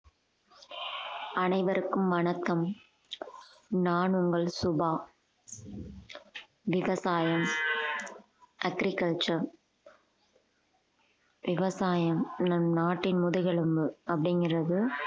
அனைவருக்கும் வணக்கம் நான் உங்கள் சுபா விவசாயம் agriculture விவசாயம் நம் நாட்டின் முதுகெலும்பு அப்படிங்கிறது